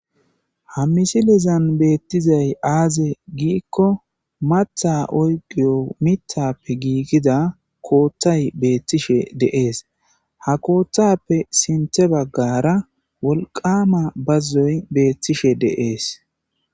ha misilizan beettizay aaze giikko matha oygiyo mithappe giigida kooththay beettishe deees ha kooththappe sinthe baggara wolqama bazzoy beettishe deees